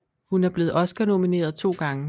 Hun er blevet Oscarnomineret to gange